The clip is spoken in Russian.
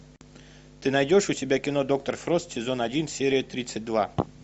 ты найдешь у себя кино доктор фрост сезон один серия тридцать два